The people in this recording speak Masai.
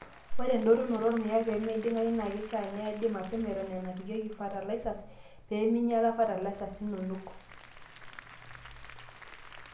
Ore endotunoto oormuyan pee meiding'ayu, naa keishaa needi mapema Eton eenapikieki fatalaisas pee minyilaa fatalaisas inonok.